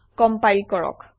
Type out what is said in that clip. compile কৰক